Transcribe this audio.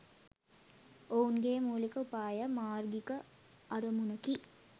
ඔවුන්ගේ මුලික උපාය මාර්ගිික අරමුණකි